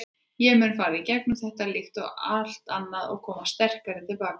Ég mun fara í gegnum þetta, líkt og allt annað og koma sterkari til baka.